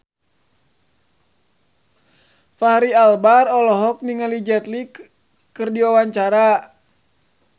Fachri Albar olohok ningali Jet Li keur diwawancara